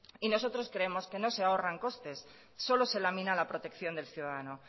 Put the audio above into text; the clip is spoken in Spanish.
nosotros creemos que no se ahorra en costes solo se lamina la protección del ciudadano